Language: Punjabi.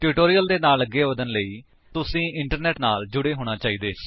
ਟਿਊਟੋਰਿਅਲ ਦੇ ਨਾਲ ਅੱਗੇ ਵਧਣ ਦੇ ਲਈ ਤੁਸੀ ਇੰਟਰਨੇਟ ਨਾਲ ਜੁੜੇ ਹੋਣੇ ਚਾਹੀਦੇ ਹੋ